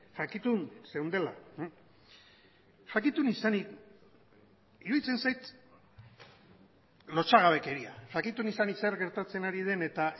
jakitun zeundela jakitun izanik iruditzen zait lotsagabekeria jakitun izanik zer gertatzen ari den eta